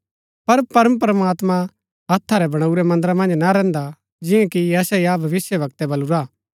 पर परमप्रमात्मां हत्था रै बणाऊरै मन्दर मन्ज ना रैहन्दा जिंआं कि यशायाह भविष्‍यवक्तै बलुरा